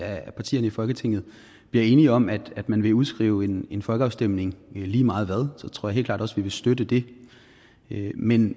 af partierne i folketinget bliver enige om at man vil udskrive en en folkeafstemning lige meget hvad så tror jeg helt klart også vi vil støtte det men